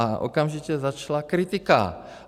A okamžitě začala kritika.